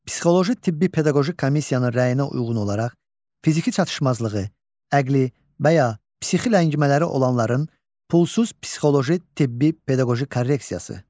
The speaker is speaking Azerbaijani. Psixoloji tibbi pedaqoji komissiyanın rəyinə uyğun olaraq fiziki çatışmazlığı, əqli və ya psixi ləngimələri olanların pulsuz psixoloji, tibbi pedaqoji korreksiyası.